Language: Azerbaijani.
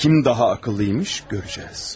Kim daha ağıllıymış, görəcəyik.